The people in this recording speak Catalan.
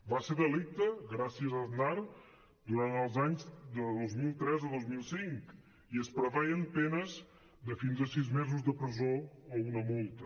va ser delicte gràcies a aznar durant els anys de dos mil tres a dos mil cinc i es preveien penes de fins a sis mesos de presó o una multa